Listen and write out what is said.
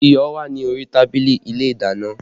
Iyọ̀ wà ní orí tábìlì ilé ìdáná